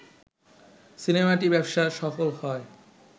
সিনেমাটি ব্যবসা সফল হয়